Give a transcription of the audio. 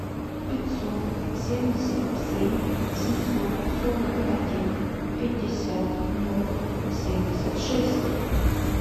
пятьсот семьдесят семь семьсот сорок один пятьдесят ноль семьдесят шесть